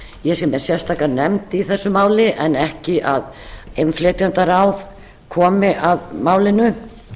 ég sé með sérstaka nefnd í þessu máli en ekki að innflytjendaráð komi að málinu